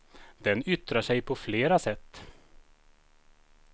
Den yttrar sig på flera sätt.